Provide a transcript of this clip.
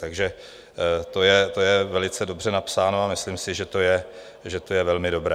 Takže to je velice dobře napsáno a myslím si, že to je velmi dobré.